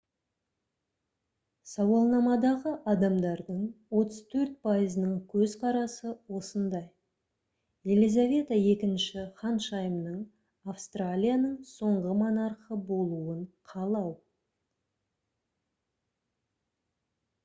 сауалнамадағы адамдардың 34 пайызының көзқарасы осындай елизавета ii ханшайымның австралияның соңғы монархы болуын қалау